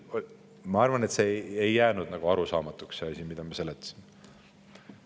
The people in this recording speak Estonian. Ma arvan, et ei jäänud arusaamatuks see, mida me seletasime.